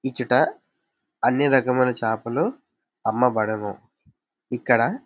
ఇచ్చట అన్ని రకముల చేపలు అమ్మబడును. ఇక్కడ--